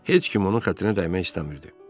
Heç kim onun xətrinə dəymək istəmirdi.